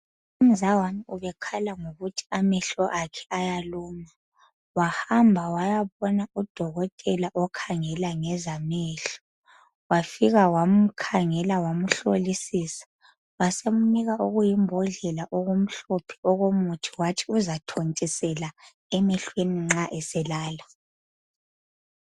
Umzawami ubekhala ngokuthi amehlo akhe ayaluma wahamba wayabona udokotela okhangela ngezamehlo wafika wamkhangela wamhlolisisa wasemnika okuyimbodlela okumhlophe okomuthi wathi uzathontisela emehlweni nxa eselala.